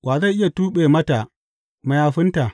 Wa zai iya tuɓe mata mayafinta?